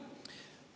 Aeg, hea kolleeg!